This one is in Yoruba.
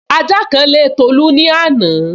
Ajá kan lé Tolu ní àná